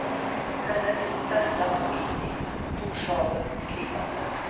Hennes bästa bok hittills, storslagen och gripande.